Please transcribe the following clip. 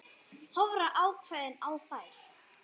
Horfa ákveðin á þær.